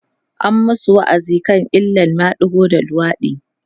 an masu wa'azi akan illan madigo da luwaɗi